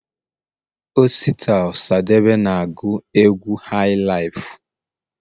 osita osadebe na agu egwu hailaifu